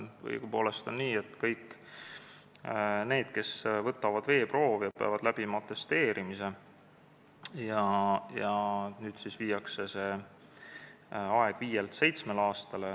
Õigupoolest on nii, et kõik need, kes võtavad veeproove, peavad läbi tegema atesteerimise ja nüüd viiakse see aeg viielt aastalt seitsmele aastale.